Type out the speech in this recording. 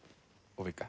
og